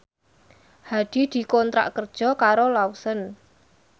Hadi dikontrak kerja karo Lawson